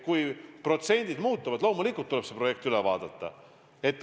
Kui protsendid muutuvad, siis loomulikult tuleb see projekt üle vaadata.